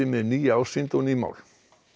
með nýja ásýnd og ný mál